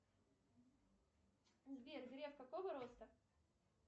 сбер греф какого роста